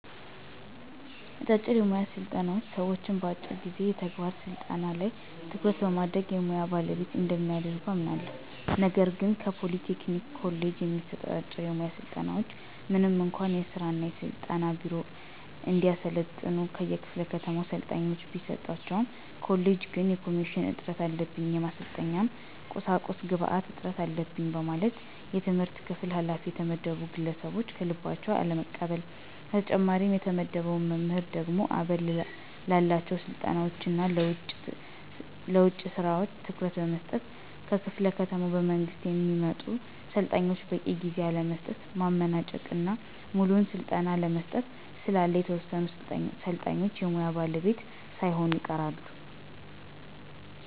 አጫጭር የሙያ ስልጠናዎች ሰዎችን በአጭር ጊዜ የተግባር ስልጠና ላይ ትኩረት በማድረግ የሙያ ባለቤት እንደሚያደርጉ አምናለሁ። ነገር ግን ከፖሊ ቴክኒክ ኮሌጅ የሚሰጡ አጫጭር የሙያ ስልጠናዎች ምንም እንኳ የሥራ እና ስልጠና ቢሮ እንዲያሰለጥኑ ከየክፋለ ከተማው ሰልጣኞችን ቢሰጣቸውም ኮሌጁ ግን የማሽን እጥረት አለብኝ፣ የማሰልጠኛ ቁሳቁስ ግብአት እጥረት አለበኝ በማለት የትምህርት ክፍል ኋላፊ የተመደቡ ግለሰቦች ከልባቸው አለመቀበል። በተጨማሪም የተመደበው መምህር ደግሞ አበል ላላቸው ስልጠናዎች እና ለውጭ ስራ ትኩረት በመስጠት ከክፍለ ከተማ በመንግስት ለሚመጡ ሰልጣኞች በቂ ጊዜ አለመስጠት፣ ማመናጨቅ እና ሙሉውን ስልጠና አለመስጠት ስላለ የተወሰኑ ሰልጣኞች የሙያ ባለቤት ሳይሆኑ ይቀራሉ።